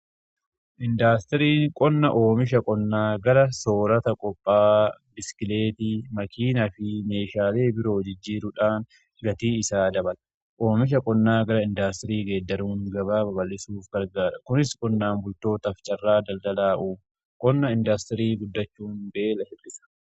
Indaastiriin qonna oomisha qonnaa gara soorata qophaa'aa, biskileetii, makiinaa fi meeshaalee biroo jijjiiruudhaan gatii isaa dabala. Oomisha qonnaa gara indaastirii geeddaruun gabaa baballisuuf gargaara. Kunis qonnaan bultootaf carraa daldalaa uuma. Qonna indaastirii guddachuun beela ittisa.